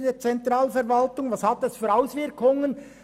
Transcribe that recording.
Wird diese Stelle abgebaut, hat dies Auswirkungen.